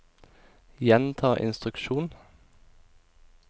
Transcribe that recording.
gjenta instruksjon